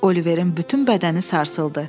Oliverin bütün bədəni sarsıldı.